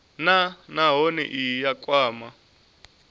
nha nahone ine ya kwama